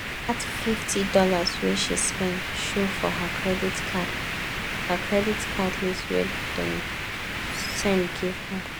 that fifty dollars wey she spend show for her credit card her credit card list wey dem send give her.